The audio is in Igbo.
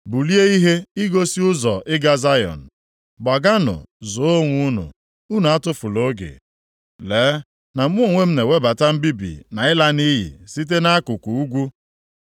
Bulie ihe i gosi ụzọ ị ga Zayọn! Gbaganụ zoo onwe unu. Unu atụfula oge! Lee na mụ onwe m na-ewebata mbibi na ịla nʼiyi site nʼakụkụ ugwu.”